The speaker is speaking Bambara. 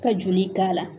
Ka joli k'a la